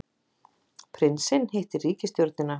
Prinsinn hittir ríkisstjórnina